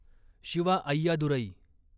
Shiva Ayyadurai